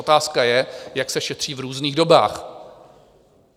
Otázka je, jak se šetří v různých dobách.